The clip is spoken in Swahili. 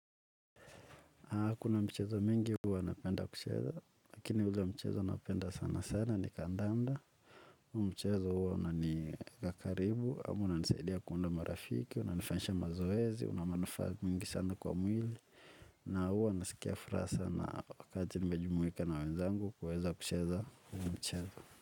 Na kuna mchezo mingi huwa napenda kucheza, lakini ule mchezo napenda sana sana ni kandanda. Mchezo huo unanieka karibu, ama unanisaidia kuunda marafiki, unanifanyisha mazoezi, una manufaa mingi sana kwa mwili. Na huwa nasikia furaha sana wakati nimejumuika na wenzangu kuweza kucheza huu mchezo.